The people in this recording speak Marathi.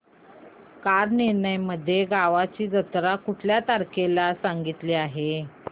कालनिर्णय मध्ये गावाची जत्रा कुठल्या तारखेला सांगितली आहे